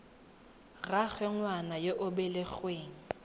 rraagwe ngwana yo o belegweng